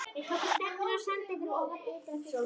Þeir tóku stefnuna á sandinn fyrir ofan ytra-frystihúsið.